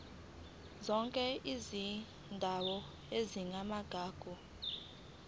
zonke izindawo ezingamagugu